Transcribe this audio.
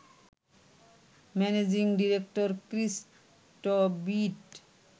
managing director Chris টবিট